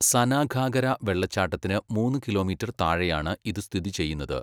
സനാഘാഗര വെള്ളച്ചാട്ടത്തിന് മൂന്ന് കിലോമീറ്റർ താഴെയാണ് ഇത് സ്ഥിതി ചെയ്യുന്നത്.